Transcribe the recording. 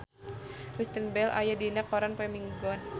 Kristen Bell aya dina koran poe Minggon